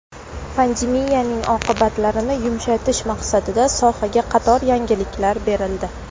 Pandemiyaning oqibatlarini yumshatish maqsadida sohaga qator yengilliklar berildi.